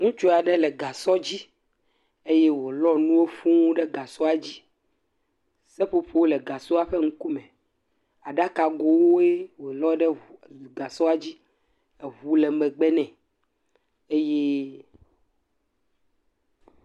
Ŋutsu aɖe le gasɔ dzi, eye wo lɔ nuwo fuū ɖe gasɔa dzi, seƒoƒo le gasɔa ƒe ŋukume, aɖaka go woe wo lɔ ɖe gasɔa dzi, eʋu le megbe ne, eye.